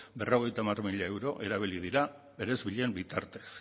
berrogeita hamar mila euro erabili dira eresbilen bitartez